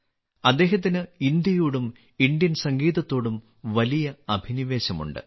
അദ്ദേഹത്തിന് ഇന്ത്യയോടും ഇന്ത്യൻ സംഗീതത്തോടും വലിയ അഭിനിവേശമുണ്ട്